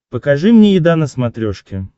покажи мне еда на смотрешке